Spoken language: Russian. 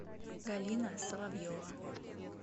галина соловьева